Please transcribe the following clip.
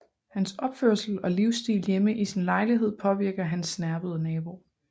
Hans opførsel og livsstil hjemme i sin lejlighed påvirker hans snerpede nabo